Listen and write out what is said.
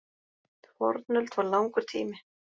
Fornöld var langur tími.